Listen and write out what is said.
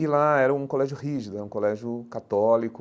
E lá era um colégio rígido, era um colégio católico,